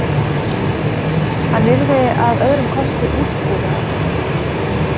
Hann yrði að öðrum kosti útskúfaður.